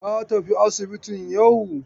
Ka tafi asibitin yau!